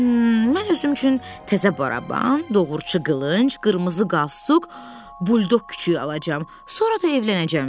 Mən özüm üçün təzə baraban, doğruçu qılınc, qırmızı qastuk, bulldog küçüyü alacam, sonra da evlənəcəm.